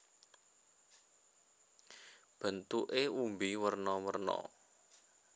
Bentuké umbi werna werna